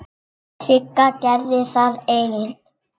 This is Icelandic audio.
Sigga gerði það ein.